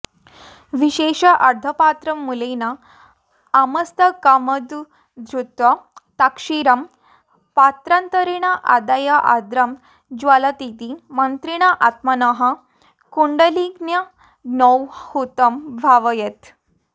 विशेषार्घ्यपात्रं मूलेन आमस्तकमुद्धृत्य तत्क्षीरं पात्रान्तरेण आदाय आर्द्रं ज्वलतीति मन्त्रेण आत्मनः कुण्डलिन्यग्नौ हुतं भावयेत्